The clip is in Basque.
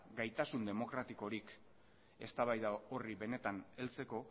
gaitasun demokratikorik eztabaida horri benetan heltzeko